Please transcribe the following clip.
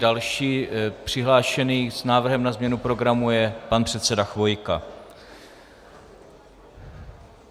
Další přihlášený s návrhem na změnu programu je pan předseda Chvojka.